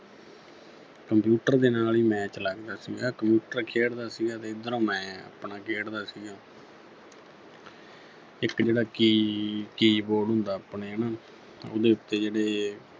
computer ਦੇ ਨਾਲ ਹੀ match ਲਗਦਾ ਸੀਗਾ computer ਖੇਡਦਾ ਸੀਗਾ ਤੇ ਇੱਧਰੋਂ ਮੈਂ ਆਪਣਾ ਖੇਡਦਾ ਸੀਗਾ ਇੱਕ ਜਿਹੜਾ ਕੀ ਅਹ Keyboard ਹੁੰਦਾ ਆਪਣੇ ਹੈਨਾ ਉਹਦੇ ਉੱਤੇ ਜਿਹੜੇ